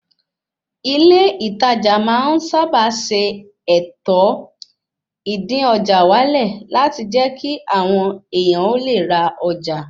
Ilé ìtajà máa ń sábà ṣe ètò, ìdín-ọjà-wálẹ̀ láti jẹ́ kí àwọn èèyàn ó le ra ọjà